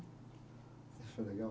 Achou legal?